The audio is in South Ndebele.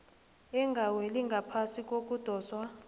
engaweli ngaphasi kokudoswa